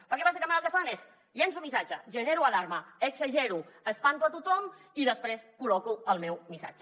perquè bàsicament el que fan és llenço un missatge genero alarma exagero espanto a tothom i després col·loco el meu missatge